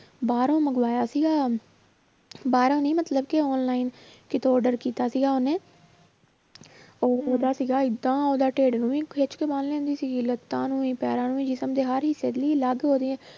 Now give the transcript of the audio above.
ਬਾਹਰੋਂ ਮੰਗਵਾਇਆ ਸੀਗਾ ਬਾਹਰੋਂ ਨੀ ਮਤਲਬ ਕਿ online ਕਿਤੋਂ order ਕੀਤਾ ਸੀਗਾ ਉਹਨੇ ਉਹ ਉਹਦਾ ਸੀਗਾ ਏਦਾਂ ਉਹਦਾ ਢਿੱਡ ਨੂੰ ਵੀ ਖਿੱਚ ਕੇ ਬੰਨ ਲੈਂਦੀ ਸੀਗੀ ਲੱਤਾਂ ਨੂੰ ਵੀ ਪੈਰਾਂ ਨੂੰ ਵੀ ਜਿਸ਼ਮ ਦੇ ਹਰ ਹਿੱਸੇ